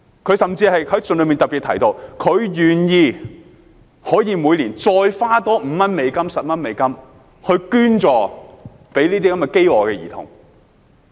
"他甚至在信中特別提到，願意每年再多花5美元、10美元捐助飢餓兒童。